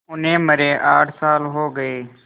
उन्हें मरे आठ साल हो गए